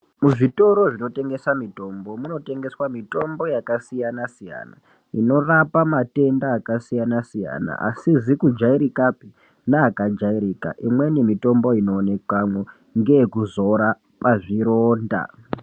Muzvitoro zvinotengesa mitombo, munotengeswa mitombo yakasiyana-siyana, inorapa matenda akasiyana-siyana, asizi kujairikapi ,neakajairika. Imweni mitombo inoonekamwo, ngeyekuzora pazvironda.